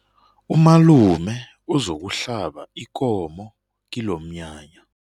Umalume uzokuhlaba ikomo kilomnyanya.